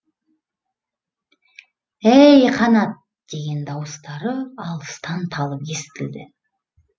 әй қанат деген дауыстары алыстан талып естілді